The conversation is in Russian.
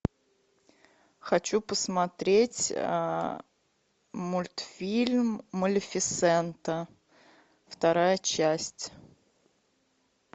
хочу посмотреть мультфильм малефисента вторая часть